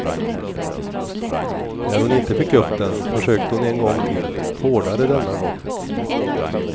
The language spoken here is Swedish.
När hon inte fick upp den försökte hon en gång till, hårdare denna gång.